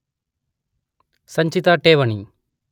ಸಂಚಿತ ಠೇವಣಿ